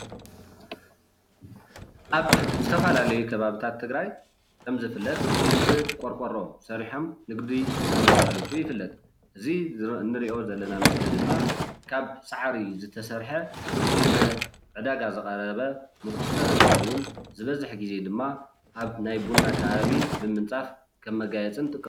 ኣብ ዝተፈላለዩ ኸባብታት ትግራይ ከም ዝፍለጥ ብቆሮቆሮ ሰሪሖም ንግዲ ኸም ዘሳልጡ ይፍለጥ ።እዙይ እንሪኦ ዘለና ምስሊ ድማ ካብ ሳዕሪ ዝተሰርሐ ንዕዳጋ ዝቀረበ ሞኾስተሪ እንትኸውን ዝበዝሕ ግዜ ድማ ኣብ ቡና ከባቢ ከም ምንፃፍ እንጥቀመሉ።